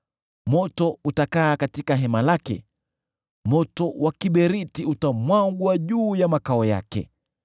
Moto utakaa katika hema lake; moto wa kiberiti utamwagwa juu ya makao yake.